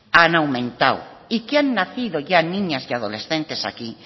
han aumentado y que han nacido ya niñas y adolescentes aquí